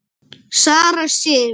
Sara Sif.